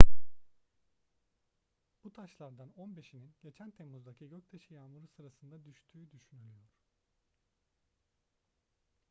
bu taşlardan on beşinin geçen temmuz'daki göktaşı yağmuru sırasında düştüğü düşünülüyor